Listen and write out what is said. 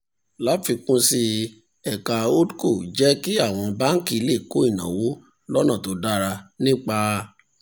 láfikún sí i ẹ̀ka holdco jẹ́ kí àwọn báńkì lè kó ìnáwó lọ́nà tó dára nípa